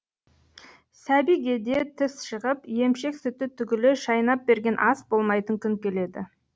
сәбиге де тіс шығып емшек сүті түгілі шайнап берген ас болмайтын күн келеді